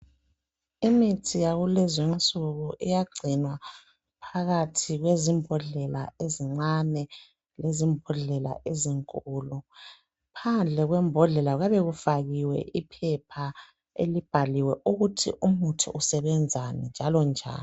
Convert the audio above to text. Imithi yakulezinsuku iyagcinwa phakathi kwezimbodlela ezincane lezimbodlela ezinkulu phandle kwembodlela kuyabe kufakiwe iphepha libhaliwe ukut umuthi usebenzani njalo njani